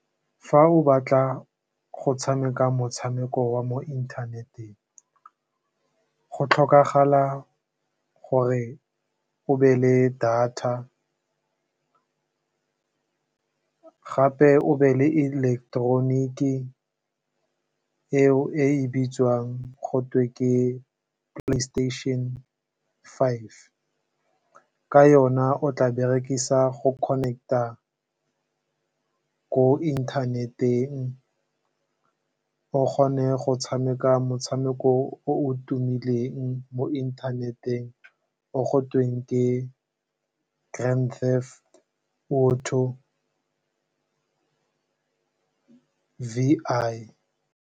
Fa o batla go tshameka motshameko wa mo inthaneteng, go tlhokagala gore o nne le data gape o nne le electronic-e eo e bitswang gotwe ke Playstation 5, ka yona o tla berekisa go connect-a ko inthaneteng, o kgone go tshameka motshameko o o tumileng mo inthaneteng o gotweng ke Grand Theft Auto V I.